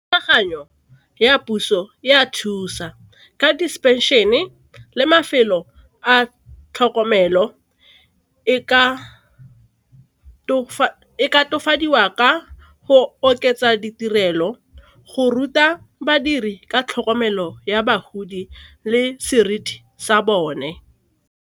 Thulaganyo ya puso e a thusa ka di le mafelo a tlhokomelo e ka tokafadiwa ka go oketsa ditirelo go ruta badiri ka tlhokomelo ya bagodi le seriti sa bone.